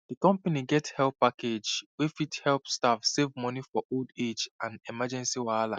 di company get help package wey fit help staff save money for old age and emergency wahala